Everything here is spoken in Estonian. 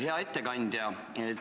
Hea ettekandja!